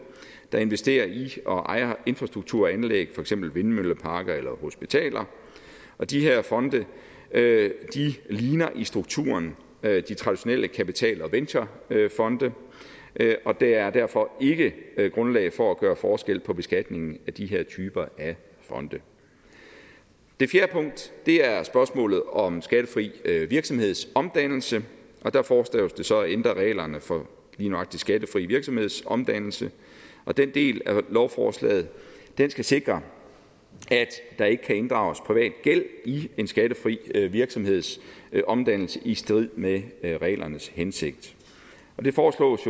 der investerer i og ejer infrastrukturanlæg for eksempel vindmølleparker eller hospitaler og de her fonde ligner i strukturen de traditionelle kapital og venturefonde og der er derfor ikke grundlag for at gøre forskel på beskatningen af de her typer fonde det fjerde punkt er spørgsmålet om skattefri virksomhedsomdannelse og der foreslås det så at ændre reglerne for lige nøjagtig skattefri virksomhedsomdannelse og den del af lovforslaget skal sikre at der ikke kan inddrages privat gæld i en skattefri virksomhedsomdannelse i strid med reglernes hensigt det foreslås